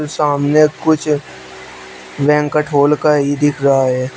सामने कुछ banquet hall का ही दिख रहा है।